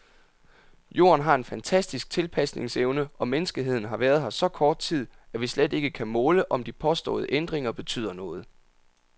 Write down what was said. Jorden har en fantastisk tilpasningsevne, og menneskeheden har været her så kort tid, at vi slet ikke kan måle, om de påståede ændringer betyder noget.